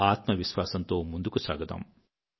ఆత్మవిశ్వాసంతో ముందుకు సాగుదాం